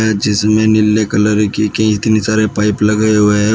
जिसमें नीले कलर की इतनी सारी पाइप लगाया हुआ है।